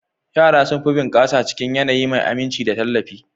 Yara sun fi bunƙasa cikin yanayi mai aminci da tallafi.